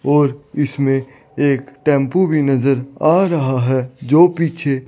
और इसमें एक टेम्पो भी नज़र आ रहा है जो पीछे --